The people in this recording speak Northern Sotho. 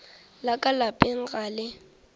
la ka lapeng ga le